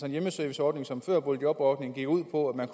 en hjemmeserviceordning som før boligjobordningen gik ud på at man